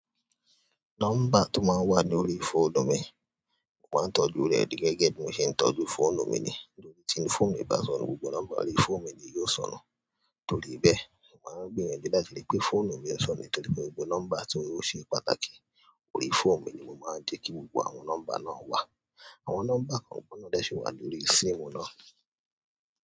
Nọ́mbà tó máa ń wà lórí fóònù mi, mo máa ń tọ́jú rẹ̀ gẹ́gẹ́ bí mo ṣe ń tọ́jú fóònù mi ni. Tí fóònù mi bá sọnù gbogbo nọ́mbà órí fóònù mi ni yóò sọnù. Torí bẹ́ẹ̀, mo máa ń gbìyànjú láti rí i pé fóònù mi ó sọnù nítorí gbogbo nọ́mbà tí ó ṣe pàtàkì lórí fóònù mi ni mo máa ń jẹ́ kí gbogbo àwọn nọ́mbà náà wà. Àwọn nọ́mbà kan ò gbọdọ̀ dẹ́sẹ̀ wà lórí síìmù náà.